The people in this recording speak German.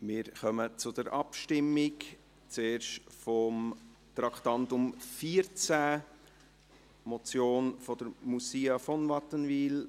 Wir kommen zur Abstimmung, zuerst zum Traktandum 14, der Motion von Moussia von Wattenwyl.